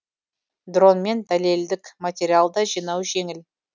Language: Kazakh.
дронмен дәлелдік материал да жинау жеңіл